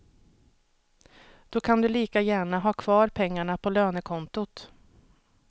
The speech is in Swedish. Då kan du lika gärna ha kvar pengarna på lönekontot.